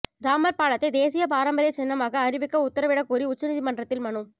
ராமா் பாலத்தை தேசிய பாரம்பரிய சின்னமாக அறிவிக்க உத்தரவிடக் கோரி உச்சநீதிமன்றத்தில் மனு